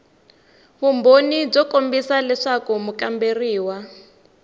vumbhoni byo kombisa leswaku mukamberiwa